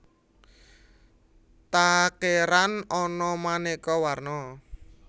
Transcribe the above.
Takeran ana manéko warno